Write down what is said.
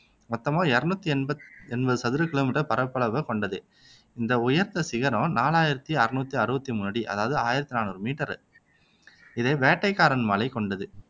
மொத்தமா இருநூத்தி எண்பத் எண்பது சதுர கிலோமீட்டர் பரப்பளவைக் கொண்டது இந்த உயர்ந்த சிகரம் நாலாயிரத்தி அறநூத்தி அறுபத்து மூணு அடி அதாவது ஆயிரத்தி நானூறு மீட்டரு இது வேட்டைக்காரன் மலை கொண்டது